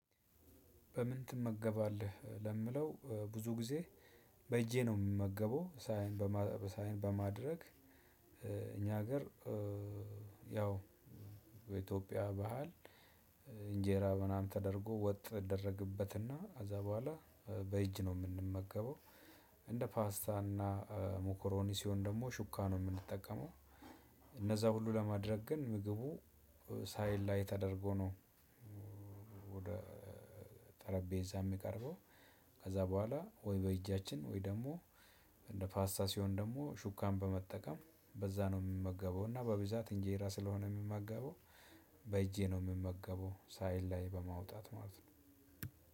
በምን ትመገባለህ ለሚለው ብዙ ጊዜ በእጄ ነው እምመገበው። ሳህን በማድረግ እኛ ሀገር ያው በኢትዮጵያ ባህል እንጀራ ምናምን ተደርጎ ወጥ ይደረግበትና ከዛ ቡሃላ በእጅ ነው እምንመገበው። እንደ ፓስታና ሙኮሮኒ ሲሆን ደግሞ ሹካ ነው እምንጠቀመው። እነዛ ሁሉ ለማድረግ ግን ምግቡ ሳህን ላይ ተደርጎ ነው። ወደ ጠረጴዛ እሚቀርበው። ከዛ ቡሃላ ወይ በእጃችን ወይ ደሞ እንደ ፓስታ ሲሆን ደግሞ ሹካን በመጠቀም በዛ ነው እምመገበው። እና በብዛት እንጀራ ስለሆነ እምመገበው በእጄ ነው እምመገበው ሳህን ላይ በማውጣት ማለት ነው።